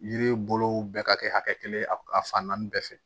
Yiri bolow bɛɛ ka kɛ hakɛ kelen ye a fan naani bɛɛ fɛ